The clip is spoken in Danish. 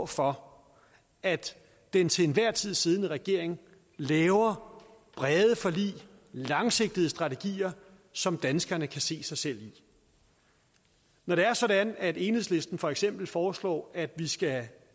for at den til enhver tid siddende regering laver brede forlig langsigtede strategier som danskerne kan se sig selv i når det er sådan at enhedslisten for eksempel foreslår at vi skal